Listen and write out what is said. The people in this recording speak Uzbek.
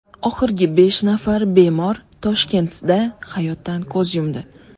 Oxirgi besh nafar bemor Toshkentda hayotdan ko‘z yumdi.